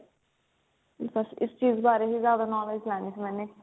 ਬਸ ਇਸ ਚੀਜ਼ ਬਾਰੇ ਹੀ ਜ਼ਿਆਦਾ knowledge ਲੈਣੀ ਸੀ ਮੈਨੇ